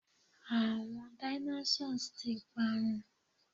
àwọn Dinosaurs ti parun